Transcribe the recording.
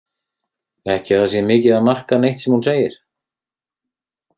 Ekki að það sé mikið að marka neitt sem hún segir.